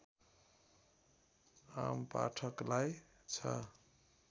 आमपाठकलाई छ